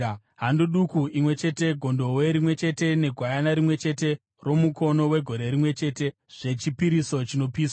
hando duku imwe chete, gondobwe rimwe chete negwayana rimwe chete romukono wegore rimwe chete, zvechipiriso chinopiswa;